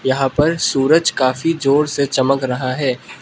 यहां पर सूरज काफ़ी जोर से चमक रहा है।